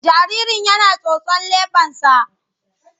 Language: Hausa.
Jaririn yana tsotson leɓensa.